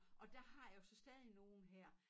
Og der har jeg jo så stadig nogen her